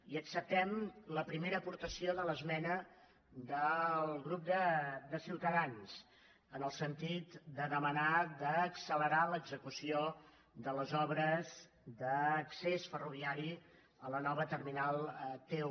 i acceptem la primera aportació de l’esmena del grup de ciutadans en el sentit de demanar d’accelerar l’execució de les obres d’accés ferroviari a la nova terminal t un